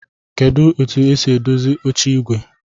Kedu otu esi edozi oche igwe?